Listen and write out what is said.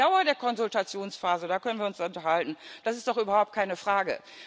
Über die Dauer der Konsultationsphase können wir uns unterhalten, das ist doch überhaupt keine Frage.